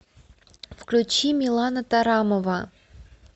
включи милана тарамова